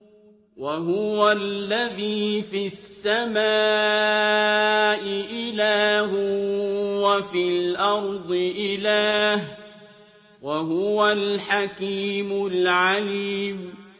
وَهُوَ الَّذِي فِي السَّمَاءِ إِلَٰهٌ وَفِي الْأَرْضِ إِلَٰهٌ ۚ وَهُوَ الْحَكِيمُ الْعَلِيمُ